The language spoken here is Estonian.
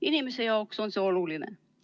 Inimese jaoks on see oluline.